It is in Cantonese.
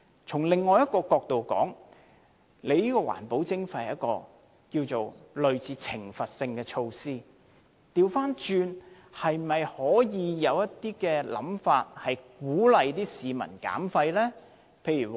從另一角度來說，環保徵費是類似懲罰性的措施，可否倒過來有一些鼓勵市民減廢的方法？